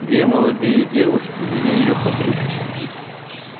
две молодые девушки вели её под руки